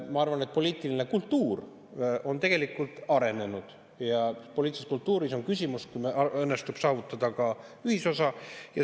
Ma arvan, et poliitiline kultuur on tegelikult arenenud ja poliitilises kultuuris on küsimus, kas meil õnnestub saavutada ühisosa.